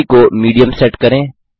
गति को medium set करें